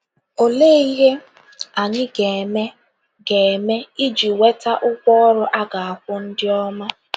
Olee ihe anyị ga - eme ga - eme iji nweta ụgwọ ọrụ a ga - akwụ ndị ọma?